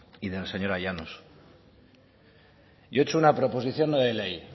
y de la señora llanos yo he hecho una proposición no de ley